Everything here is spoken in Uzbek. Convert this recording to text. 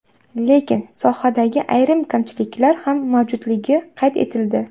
Lekin sohadagi ayrim kamchiliklar ham mavjudligi qayd etildi.